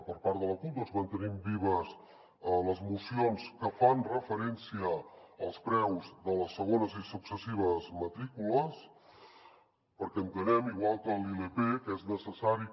per part de la cup mantenim vives les esmenes que fan referència als preus de les segones i successives matrícules perquè entenem igual que la ilp que és necessari que